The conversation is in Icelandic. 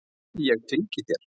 Ég fylgi þér!